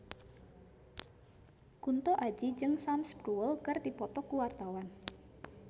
Kunto Aji jeung Sam Spruell keur dipoto ku wartawan